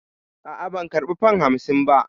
A'a, ban karba fam hamsin ba.